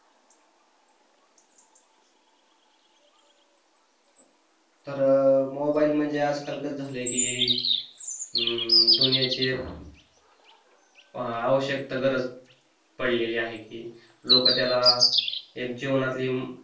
तर मोबाईल म्हणजे आजकाल कस झालं की अं दुनियाची एक आवश्यकता गरज पडलेली आहे की लोक त्याला एक जीवनातली